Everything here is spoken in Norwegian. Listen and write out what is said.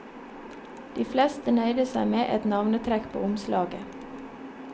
De fleste nøyde seg med et navnetrekk på omslaget.